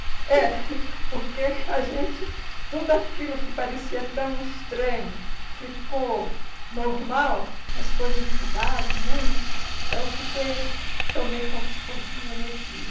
É, porque a gente tudo aquilo que parecia tão estranho ficou normal, as coisas mudaram muito, então fiquei tomei como se fosse um elogio.